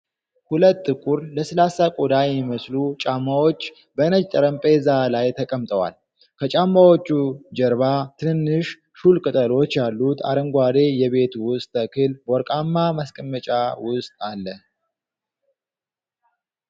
ሁለት ጥቁር፣ ለስላሳ ቆዳ የሚመስሉ ጫማዎች በነጭ ጠረጴዛ ላይ ተቀምጠዋል። ከጫማዎቹ ጀርባ፣ ትንንሽ፣ ሹል ቅጠሎች ያሉት አረንጓዴ የቤት ውስጥ ተክል በወርቃማ ማስቀመጫ ውስጥ አለ።